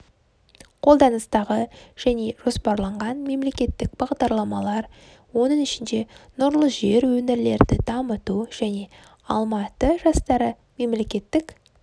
қолданыстағы және жоспарланған мемлекеттік бағдарламалар оның ішінде нұрлы жер өңірлерді дамыту және алматы жастары мемлекеттік